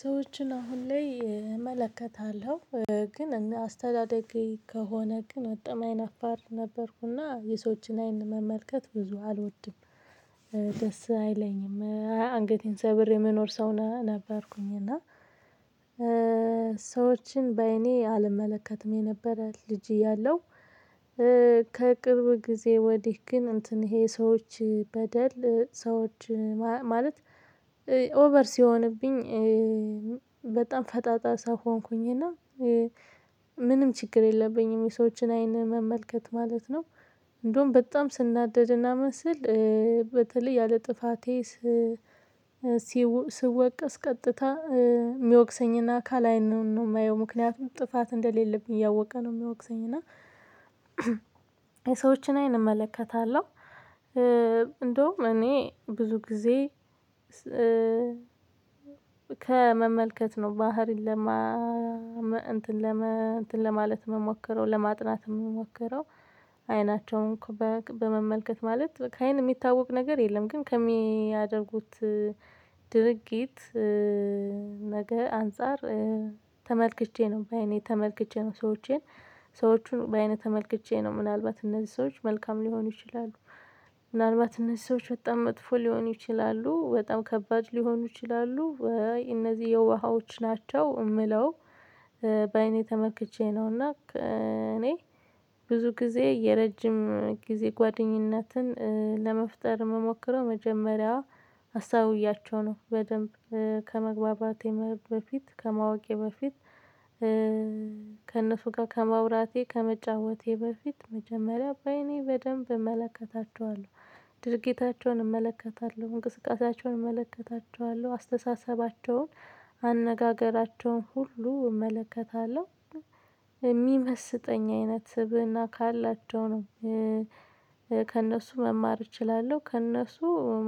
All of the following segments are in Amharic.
ሰዎችን አሁን ላይ እመለከታለሁ ግን አስተዳደጌ ከሆነ ግን በጣም አይናፋር ነበርኩና የሰዎችን አይን መመልከት ብዙ አልወድም። ደስ አይለኝም አንገቴን ሰብሬ የምኖር ሰው ነበርኩኝ እና ሰዎችን በአይኔ አልመለከትም የነበረ ልጅ እያለሁ። ከቅርብ ጊዜ ወዲህ ግን እንትን ይሄ ሰዎች በደል ሰዎች ማለት ኦቨር ሲሆንብኝ በጣም ፈጣጣ ሰው ሆንኩኝ። እና ምንም ችግር የለብኝም የሰዎችን አይን መመልከት ማለት ነው። እንደውም በጣም ስናደድ እና ምንስል በተለይ ያለ ጥፋቴ። ስወቀስ ቀጥታ የሚወቅሰኝን አካል አይኑን ነው የማየው ምክንያቱም ጥፋት እንደሌለብኝ እያወቀ ነው የሚወቅሰኝ። እና ሰዎችን አይን እመለከታለሁ። እንደውም እኔ ብዙ ጊዜ ከመመልከት ነው ባህሪን ለማ እንትን ለማ እንትን ለማለት የምሞክረው ለማጥናት የምሞክረው አይናቸውን በመመልከት ማለት ከአይን የሚታወቅ ነገር የለም። ግን ከሚያደርጉት ድርጊት ነገር አንፃር ተመልክቼ ነው በአይኔ ተመልክቼ ነው ሰዎቼን ሰዎቹን በአይነት ተመልክቼ ነው ምናልባት እነዚህ ሰዎች መልካም ሊሆኑ ይችላሉ። ምናልባት እነዚህ ሰዎች በጣም መጥፎ ሊሆኑ ይችላሉ በጣም ከባድ ሊሆኑ ይችላሉ። እነዚህ የውሃዎች ናቸው የምለው በአይኔ ተመክቼ ነውና። እኔ ብዙ ጊዜ የረጅም ጊዜ ጓደኝነትን ለመፍጠር ምሞክረው መጀመሪያው አስተውያቸው ነው በደንብ ከመግባባት በፊት ከማወቄ በፊት። ከእነሱ ጋር ከመውራቴ ከመጫወቴ በፊት መጀመሪያ በአይኔ በደንብ እመለከታቸዋለሁ ድርጊታቸውን እመለከታቸዋለሁ እንቅስቃሴያቸውን እመለከታቸዋለሁ አስተሳሰባቸውን አነጋገራቸውን ሁሉ እመለከታለሁ የሚመስጠኝ አይነት ስብእና ካላቸው ነው። ከእነሱ መማር እችላለሁ ከእነሱ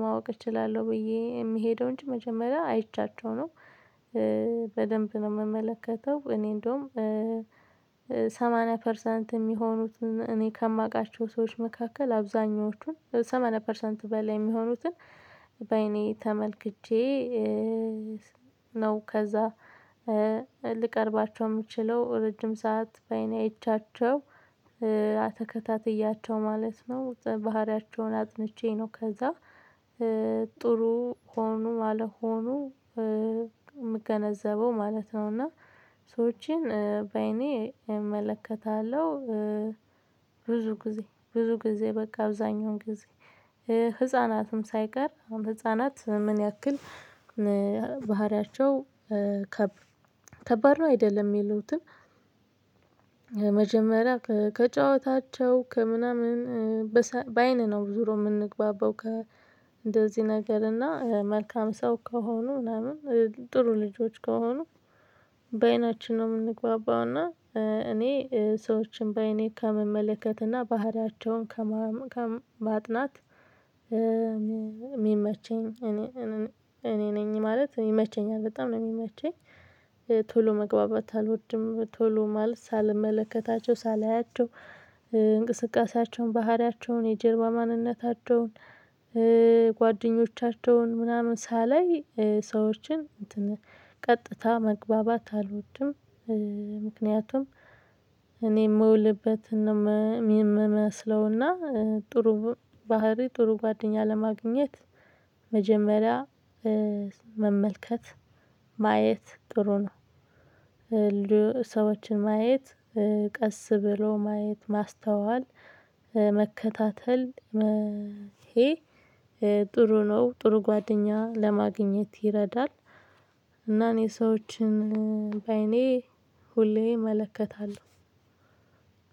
ማወቅ እችላለሁ ብዬ የምሄደው እንጂ መጀመሪያ አይቻቸው ነው። በደንብ ነው የምመለከተው እኔ እንደውም ሰማንያ ፐርሰንት የሚሆኑትን እኔ ከማውቃቸው ሰዎች መካከል አብዛኞቹን ሰማንያ ፐርሰንት በላይ የሚሆኑትን በአይኔ ተመልክቼ ነው። ከዚያ ልቀርባቸው የምችለው ረጅም ሰዓት በአይኔ አይቻቸው ተከታትያቸው ማለት ነው ባህሪያቸውን አጥንቼ ነው ከዚያ ጥሩ ሆኖ አልሆኖ የምገነዘበው ማለት ነው። እና ሰዎችን በአይኔ እመለከታለሁ። ብዙ ጊዜ ብዙ ጊዜ በቃ አብዛኛውን ጊዜ ህፃናትም ሳይቀር አሁን ህፃናት ምን ያክል? ባህሪያቸው ከባ ከባድ ነው አይደለም የሚሉትን መጀመሪያ ከጨዋታቸው ከምናምን በአይን ነው ዙሮ የምንግባባው ከእንደዚህ ነገር እና መልካም ሰው ከሆኑ ምናምን ጥሩ ልጆች ከሆኑ? በአይናችን ነው የምንግባባው እና እኔ ሰዎችን በአይኔ ከመመለከት እና ባህሪያቸውን ከማጥናት ማጥናት የሚመቸኝ እኔ እኔ ነኝ ማለት ይመቸኛል። በጣም ነው የሚመቸኝ። ቶሎ መግባባት አልወድም ቶሎ ማለት ሳልመለከታቸው ሳላያቸው እንቅስቃሴያቸውን ባህሪያቸውን የጀርባ ማንነታቸውን ጓደኞቻቸውን ምናምን ሳላይ ሰዎችን ቀጥታ መግባባት አልወድም። ምክንያቱም እኔ የምውልበት የምመስለውና ጥሩ ባህሪ ጥሩ ጓደኛ ለማግኘት መጀመሪያ መመልከት ማየት ጥሩ ነው። ሰዎችን ማየት ቀስ ብሎ ማየት ማስተዋል መከታተል መሔ ጥሩ ነው ጥሩ ጓደኛ ለማግኘት ይረዳል። እና እኔ ሰዎችን በአይኔ ሁሌ እመለከታለሁ።